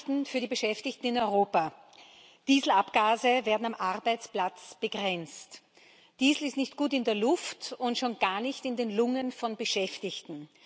Gute Nachrichten für die Beschäftigten in Europa Dieselabgase werden am Arbeitsplatz begrenzt. Diesel ist nicht gut in der Luft und schon gar nicht in den Lungen von Beschäftigten.